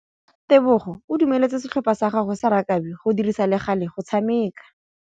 Tebogô o dumeletse setlhopha sa gagwe sa rakabi go dirisa le galê go tshameka.